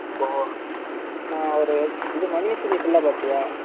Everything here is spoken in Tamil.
நான் ஒரு மணி series ஆஹ் பாத்துட்டியா?